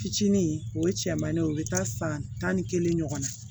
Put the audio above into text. Fitinin o ye cɛmannin ye o bɛ taa san tan ni kelen ɲɔgɔn na